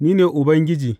Ni ne Ubangiji.